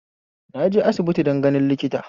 Naje aisbiti din ganin likita